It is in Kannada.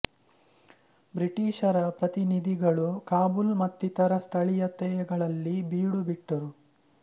ಬ್ರಿಟಿಶ್ ರ ಪ್ರತಿನಿಧಿಗಳು ಕಾಬುಲ್ ಮತ್ತಿತರ ಸ್ಥಳೀಯತೆಗಳಲ್ಲಿ ಬೀಡು ಬಿಟ್ಟರು